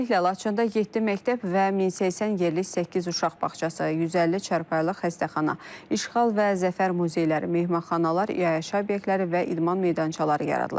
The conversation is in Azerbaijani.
Tezliklə Laçında yeddi məktəb və 1080 yerlik səkkiz uşaq bağçası, 150 çarpayılıq xəstəxana, İşğal və Zəfər muzeyləri, mehmanxanalar, iaşə obyektləri və idman meydançaları yaradılacaq.